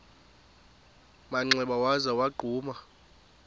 manxeba waza wagquma